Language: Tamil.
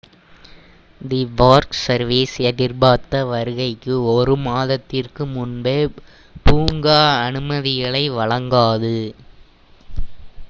தி பார்க் சர்வீஸ் minae எதிர்பார்த்த வருகைக்கு ஒரு மாதத்திற்கு முன்பே பூங்கா அனுமதிகளை வழங்காது